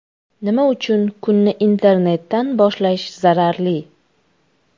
Nima uchun kunni internetdan boshlash zararli?.